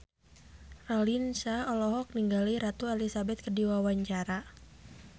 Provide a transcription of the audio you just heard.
Raline Shah olohok ningali Ratu Elizabeth keur diwawancara